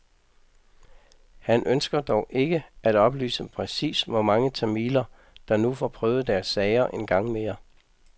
Han ønsker dog ikke at oplyse præcis, hvor mange tamiler der nu får prøvet deres sager en gang mere.